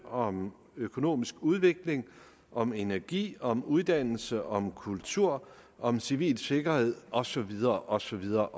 om økonomisk udvikling om energi om uddannelse om kultur om civil sikkerhed og så videre og så videre